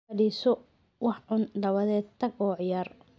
Fadhiiso, wax cun, dabadeed tag oo ciyaar.